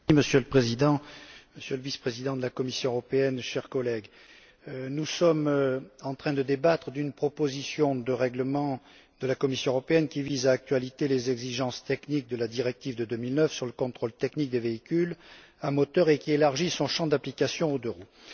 Monsieur le Président, Monsieur le Vice président de la Commission, chers collègues, nous sommes en train de débattre d'une proposition de règlement de la Commission européenne qui vise à actualiser les exigences techniques de la directive de 2009 sur le contrôle technique des véhicules à moteur et qui élargit son champ d'application aux deux roues.